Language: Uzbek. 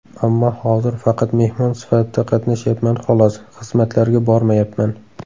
Ammo hozir faqat mehmon sifatida qatnashyapman xolos, xizmatlarga bormayapman.